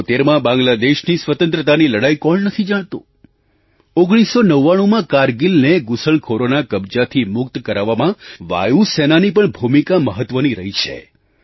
1971માં બાંગ્લાદેશની સ્વતંત્રતાની લડાઈ કોણ નથી જાણતું 1999માં કારગિલને ઘૂસણખોરોના કબજાથી મુક્ત કરાવવામાં વાયુ સેનાની પણ ભૂમિકા મહત્ત્વની રહી છે